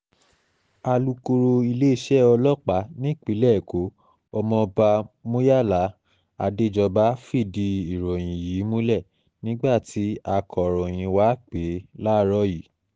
alūkọ̀rọ̀ iléeṣẹ́ ọlọ́pàá nípìnlẹ̀ ẹ̀kọ́ ọmọọba muyala adéjọba fìdí ìròyìn yìí múlẹ̀ nígbà tí akòròyìn wá pè é láàárọ̀ yìí